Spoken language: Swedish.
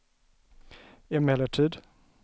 emellertid